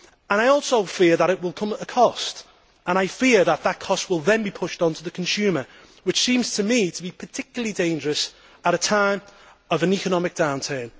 I also fear that it will come at a cost and that that cost will then be pushed onto the consumer, which seems to me to be particularly dangerous at a time of an economic downturn.